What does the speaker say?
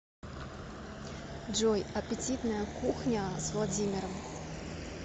джой аппетитная кухня с владимиром